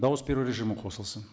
дауыс беру режимі қосылсын